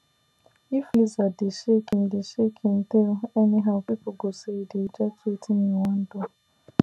if lizard dey shake im dey shake im tail anyhow people go say e dey reject wetin you wan do